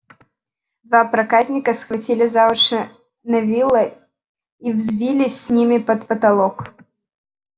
два проказника схватили за уши невилла и взвились с ними под потолок